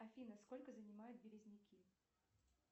афина сколько занимают березняки